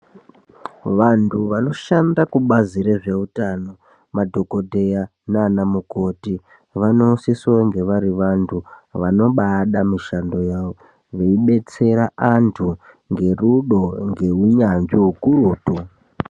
Vantu vanoshanda kubazi re zveutano madhokodheya nana mukoti vanosise kunge vari vantu vanobaida mishando yawo vei detsera antu nge rudo nge unyanzvi ukurutu .